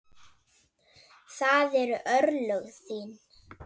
Það eru örlög þín.